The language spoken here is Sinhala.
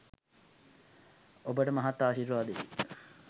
ඔබට මහත් ආශිර්වාදයකි